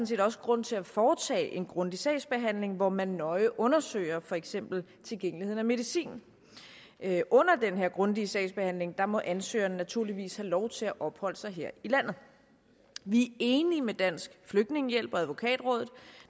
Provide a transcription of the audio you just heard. set også grund til at foretage en grundig sagsbehandling hvor man nøje undersøger for eksempel tilgængelighed af medicin under den her grundige sagsbehandling må ansøgeren naturligvis have lov til at opholde sig her i landet vi er enige med dansk flygtningehjælp og advokatrådet